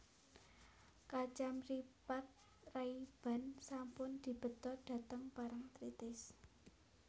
Kacamripat Rayban sampun dibeta dhateng Parangtritis